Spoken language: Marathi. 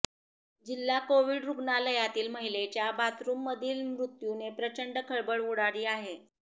जिल्हा कोविड रूग्णालयातील महिलेच्या बाथरूममधील मृत्यूने प्रचंड खळबळ उडाली आहे